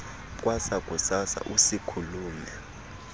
kwasa kusasa usiikhulume